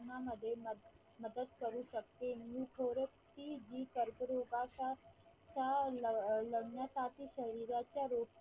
मदत करू शकते मी थोडस की जी कर्करोगाचा लढण्यासाठी शरीराचा